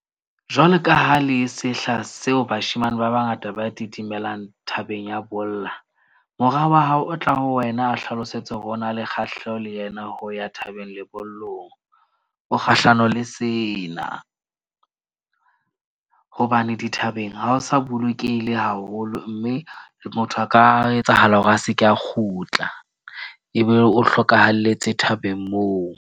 Jwalo ka ha le sehla seo, bashemane ba bangata ba thabeng ya bolla. Mora wa hao o tla ho wena a o hlalosetse hore o na le kgahleho le yena ho ya thabeng lebollong. O kgahlano le sena. Hobane dithabeng ha ho sa bolokehile haholo, mme motho a ka etsahala hore a seke a kgutla ebe o hlokahalletse thabeng moo.